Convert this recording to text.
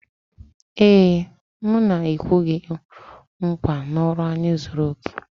Ee, m na-ekwe gị nkwa na ọrụ anyị zuru oke